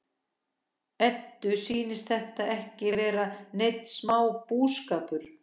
Eddu sýnist þetta ekki vera neinn smá bústaður!